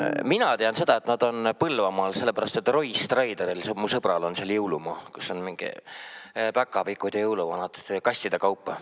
Mina tean seda, et nad on Põlvamaal, sellepärast et Roy Strideril, mu sõbral, on seal jõulumaa, kus on mingid päkapikud ja jõuluvanad, neid on kastide kaupa.